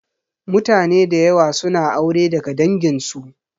Mutane da yawa suna aure daga dangin su